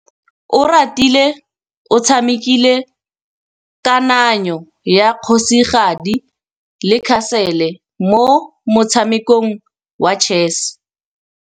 Oratile o tshamekile kananyô ya kgosigadi le khasêlê mo motshamekong wa chess.